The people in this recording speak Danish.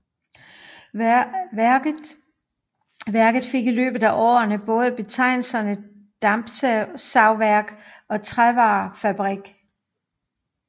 Værket fik i løbet af årene både betegnelserne dampsavværk og trævarefabrik